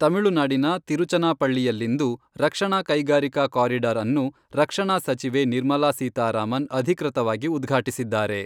ತಮಿಳುನಾಡಿನ ತಿರುಚನಾಪಳ್ಳಿಯಲ್ಲಿಂದು ರಕ್ಷಣಾ ಕೈಗಾರಿಕಾ ಕಾರಿಡಾರ್ ಅನ್ನು ರಕ್ಷಣಾ ಸಚಿವೆ ನಿರ್ಮಲಾ ಸೀತಾರಾಮನ್ ಅಧಿಕೃತವಾಗಿ ಉದ್ಘಾಟಿಸಿದ್ದಾರೆ.